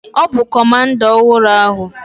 Ọ bụ comanda ọhụrụ ahụ.